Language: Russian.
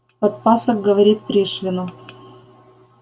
подпасок говорит пришвину